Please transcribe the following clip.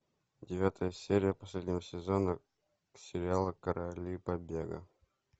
девятая серия последнего сезона сериала короли побега